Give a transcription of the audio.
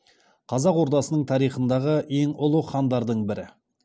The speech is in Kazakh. қазақ ордасының тарихындағы ең ұлы хандардың бірі